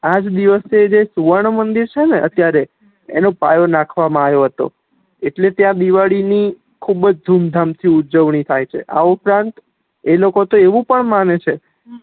આજ દિવસે જે સુવર્ણ મંદિર છે ને અત્યારે એનો પાયો નાખવા મા આયો હતો એટલે ત્યાં દિવાળી ની ખુબજ ધૂમ-ધામ થી ઉજવણી થાય છે આ ઉપરાં એ લોકો એવું પણ માને છે